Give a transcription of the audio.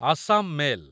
Assam mail